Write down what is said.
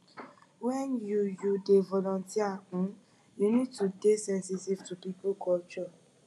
when you you dey volunteer um you need to dey sensitive to pipo culture